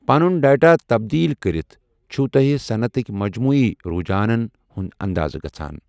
پنُن ڈیٹا تبدیٖل کٔرِتھ چھُو تۄہہِ صنعتٕک مجموعی رُجحانَن ہُنٛد اندازٕ گژھان۔